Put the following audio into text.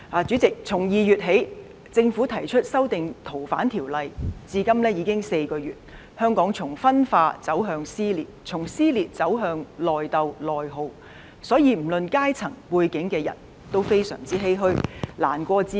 主席，從2月起，政府提出修訂《逃犯條例》，至今已經4個月，香港從分化走向撕裂，從撕裂走向內鬥內耗，所有不論階層、背景的人也非常欷歔，難過至極。